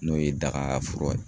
N'o ye dagafura ye.